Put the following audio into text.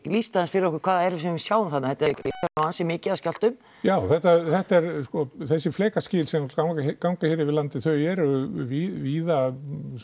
lýstu aðeins fyrir okkur hvað það er sem við sjáum þarna þetta er nú ansi mikið af skjálftum já þetta eru þessi flekaskil sem ganga hér yfir landið þau eru víða